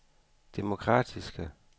demokratiske